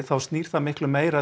þá snýst það meira